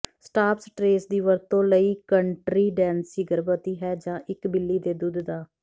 stop stress ਦੀ ਵਰਤੋਂ ਲਈ ਕੰਟ੍ਰੀਂਡੈਂਸੀ ਗਰਭਵਤੀ ਹੈ ਜਾਂ ਇਕ ਬਿੱਲੀ ਦੇ ਦੁੱਧ ਦਾ